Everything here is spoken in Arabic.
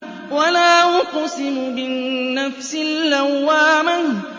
وَلَا أُقْسِمُ بِالنَّفْسِ اللَّوَّامَةِ